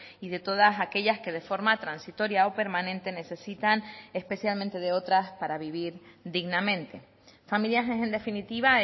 y de todas aquellas que de forma transitoria o permanente necesitan especialmente de otras para vivir dignamente familias es en definitiva